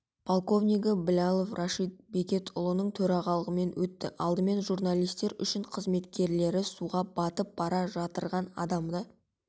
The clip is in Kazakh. подполковнигі блялов рашид бекетұлының төрағалығымен өтті алдымен журналистер үшін қызметкерлері суға батып бара жатырған адамды